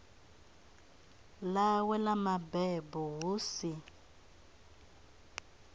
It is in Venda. ḽawe ḽa mabebo hu si